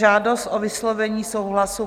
Žádost o vyslovení souhlasu